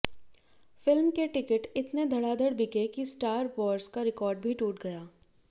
film के ticket इतने धड़ाधड़ बिके कि स्टार वॉर्स का रिकॉर्ड भी टूट गया